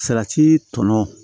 Salati tɔnɔ